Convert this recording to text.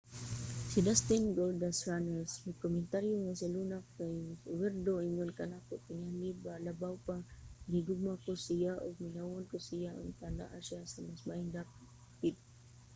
si dustin goldust runnels mikomentaryo nga si luna kay werdo ingon kanako...tingali labaw pa...gihigugma ko siya ug mingawon ko sa iya...unta naa siya sa mas maayong dapit.